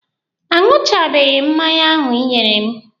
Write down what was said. A ṅụchabeghi m mmanya ahụ Ị nyere m.